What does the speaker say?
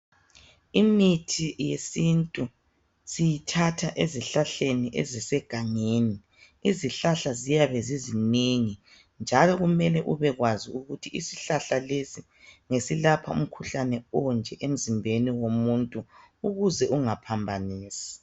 Imithi yesintu siyathatha ezihlahleni ezisegangeni. Izihlahla ziyabe zizinengi njalo kumele ubekwazi ukuthi isihlahla lesi ngesilapha umkhuhlane onje emzimbeni womuntu ukuze ungaphambanisi.